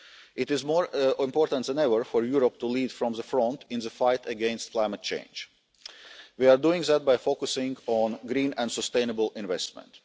is known. It is more important than ever for Europe to lead from the front in the fight against climate change. We are doing that by focusing on green and sustainable